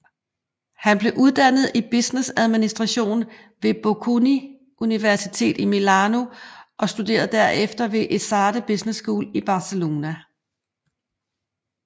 Han blev uddannet i businessadministration ved Bocconi Universitet i Milano og studerede derefter ved ESADE Business School i Barcelona